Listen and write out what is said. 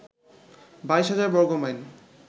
২২ হাজার বর্গমাইল